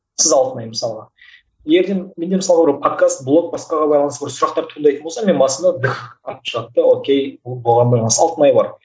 сіз алтынай мысалға ертең менде мысалға бір подкаст блок сұрақтар туындайтын болса менің басыма атып шығады да окей алтынай бар